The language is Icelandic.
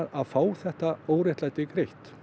að fá þetta óréttlæti greitt